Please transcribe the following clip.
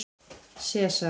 Sesar